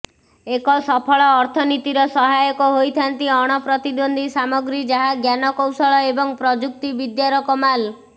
ଏକ ସଫଳ ଅର୍ଥନୀତିର ସହାୟକ ହୋଇଥାନ୍ତି ଅଣପ୍ରତିଦ୍ବନ୍ଦ୍ବୀ ସାମଗ୍ରୀ ଯାହା ଜ୍ଞାନକୌଶଳ ଏବଂ ପ୍ରଯୁକ୍ତି ବିଦ୍ୟାର କମାଲ୍